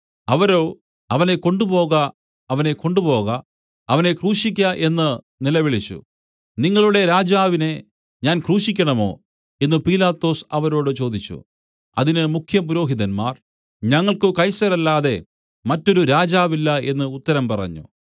അവരോ അവനെ കൊണ്ടുപോക അവനെ കൊണ്ടുപോക അവനെ ക്രൂശിയ്ക്ക എന്നു നിലവിളിച്ചു നിങ്ങളുടെ രാജാവിനെ ഞാൻ ക്രൂശിക്കേണമോ എന്നു പീലാത്തോസ് അവരോട് ചോദിച്ചു അതിന് മുഖ്യപുരോഹിതന്മാർ ഞങ്ങൾക്കു കൈസരല്ലാതെ മറ്റൊരു രാജാവില്ല എന്നു ഉത്തരം പറഞ്ഞു